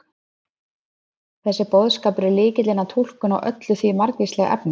þessi boðskapur er lykillinn að túlkun á öllu því margvíslega efni